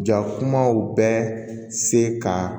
Jakumaw bɛɛ se ka